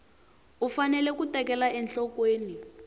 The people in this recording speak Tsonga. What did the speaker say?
u fanele ku tekela enhlokweni